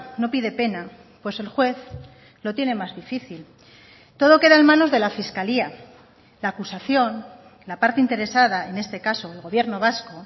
no pide pena pues el juez lo tiene más difícil todo queda en manos de la fiscalía la acusación la parte interesada en este caso el gobierno vasco